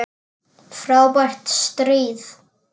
Frábært stríð!